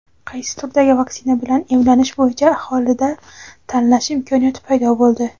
Qaysi turdagi vaksina bilan emlanish bo‘yicha aholida tanlash imkoniyati paydo bo‘ldi.